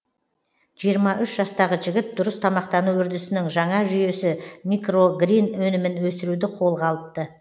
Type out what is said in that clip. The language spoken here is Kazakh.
жиырма үш жастағы жігіт дұрыс тамақтану үрдісінің жаңа жүйесі микрогрин өнімін өсіруді қолға алыпты